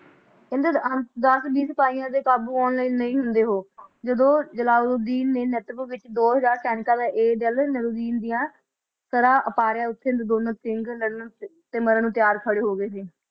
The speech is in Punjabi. ਕਹਿੰਦੇ ਦਸ ਵੀਹ ਸਿਪਾਹੀਆਂ ਦੇ ਕਾਬੂ ਆਉਣ ਵਾਲੇ ਨਹੀ ਹੁੰਦਾ ਉਹ ਜਦੋ ਜਲਾਲੂਉਦੀਨ ਨੇ ਨੈਟਵਰਕ ਵਿੱਚ ਦੋਹਜਾਰਸੈਨਿਕਾ ਦੇ ਏ ਜਲਨ ਨਵੀਨ ਦੀਆ ਤਰਾ ਉਤਾਰਿਆ ਤਾ ਉਥੇ ਲਧੋਨਨ ਕਿਗ ਸਿਮਰਨ ਨੂੰ ਤਿਆਰ ਹੋ ਗਏ ਸੀ